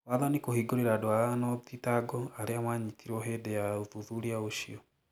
Wathani kũhingũrĩra andũ aano thitango arĩa manyitirwo hĩndĩ ya uthuthuria ũcio